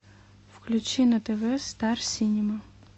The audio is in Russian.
включи на тв стар синема